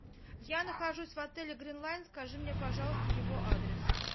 я нахожусь в отеле гринлайн скажи мне пожалуйста его адрес